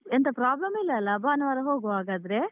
ಎಂಥ problem ಇಲ್ಲ ಅಲ, ಭಾನುವಾರ ಹೋಗುವ ಹಾಗಾದ್ರೆ?